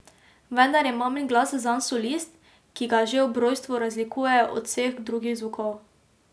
Vendar je mamin glas zanj solist, ki ga že ob rojstvu razlikuje od vseh drugih zvokov.